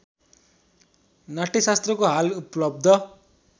नाट्यशास्त्रको हाल उपलब्ध